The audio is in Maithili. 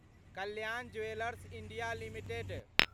Kalyan jewellers India limited